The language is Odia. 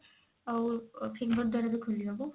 ଆଉ finger ଦ୍ଵାରା ବି ଖୋଲିହବ